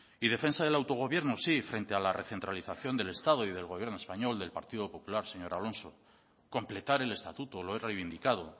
y defensa del autogobierno sí frente a la recentralización del estado y del gobierno español del partido popular señor alonso completar el estatuto lo he reivindicado